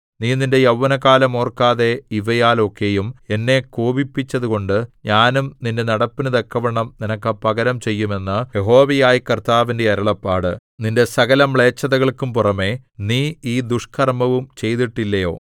നീ നിന്റെ യൗവനകാലം ഓർക്കാതെ ഇവയാൽ ഒക്കെയും എന്നെ കോപിപ്പിച്ചതുകൊണ്ട് ഞാനും നിന്റെ നടപ്പിനു തക്കവണ്ണം നിനക്ക് പകരം ചെയ്യും എന്ന് യഹോവയായ കർത്താവിന്റെ അരുളപ്പാട് നിന്റെ സകലമ്ലേച്ഛതകൾക്കും പുറമെ നീ ഈ ദുഷ്കർമ്മവും ചെയ്തിട്ടില്ലയോ